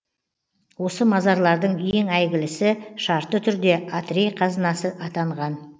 осы мазарлардың ең әйгілісі шартты түрде атрей қазынасы атанған